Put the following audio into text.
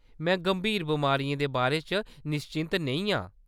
में गंभीर बमारियें दे बारे च निश्चिंत नेईं आं।